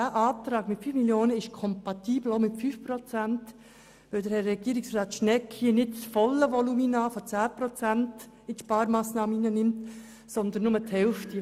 Dieser wäre auch mit 5 Prozent kompatibel, weil Herr Schnegg hier nicht das volle Volumen mit 10 Prozent in die Sparmassnahme einbezieht, sondern nur die Hälfte.